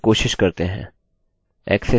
access अस्वीकृत क्योंकि password match नहीं हुये